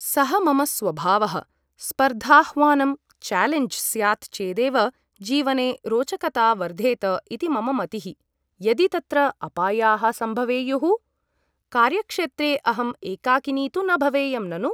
सः मम स्वभावः । स्पर्धाह्वानं चालेञ्ज् स्यात् चेदेव जीवने रोचकता वर्धेत इति मम मतिः । मल्लिका यदि तत्र अपायाः सम्भवेयुः ? कार्यक्षेत्रे अहम् एकाकिनी तु न भवेयं ननु ?